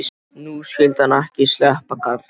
Nú skyldi hann ekki sleppa, karlinn.